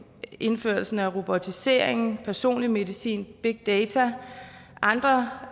indførelsen af robotiseringen personlig medicin big data og andre